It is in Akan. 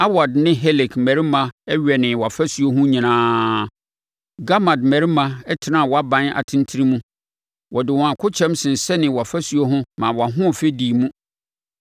Arwad ne Helek mmarima wɛnee wʼafasuo ho nyinaa. Gammad mmarima tenaa wʼaban atentene mu. Wɔde wɔn akokyɛm sensɛnee wʼafasuo ho maa wʼahoɔfɛ dii mu.